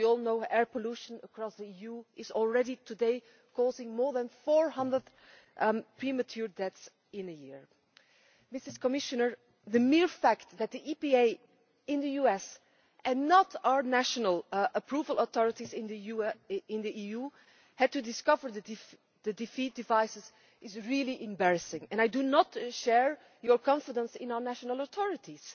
As we all know, air pollution across the EU is already causing more than 400 premature deaths a year. Madam Commissioner, the mere fact that it was the EPA in the US and not our national approval authorities in the EU that discovered the defeat devices is really embarrassing, and I do not share your confidence in our national authorities.